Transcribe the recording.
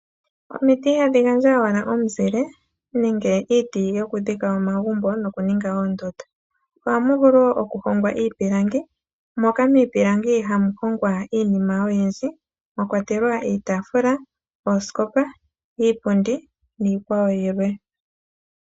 Omiti ihadhi gandja owala omuzile nenge iiti yokudhika omagumbo nokuninga oondunda. Ohamu vulu wo okuhongwa iipilangi moka miipilangi hamu hongwa iinima oyindji mwa kwatelwa iitaafula, oosikopa, iipundi niikwawo yilwe.